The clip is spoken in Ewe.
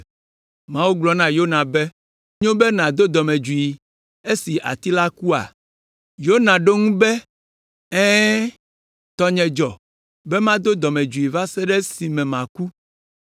Mawu gblɔ na Yona be, “Enyo be nàdo dɔmedzoe esi ati la kua?” Yona ɖo eŋu be, “Ɛ̃, tɔnye dzɔ be mado dɔmedzoe va se ɖe esime maku!”